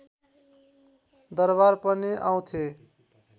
दरबार पनि आउँथे